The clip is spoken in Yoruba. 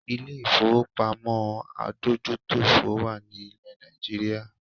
Ilé ìfowópamó adójútòfò wà ní ilẹ̀ Nàìjíríà